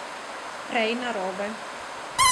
Prej narobe.